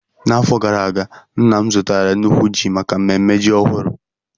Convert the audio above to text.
N'afọ gara aga, nna m zụtara nnukwu ji maka mmemme ji ọhụrụ.